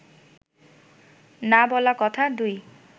না বলা কথা ২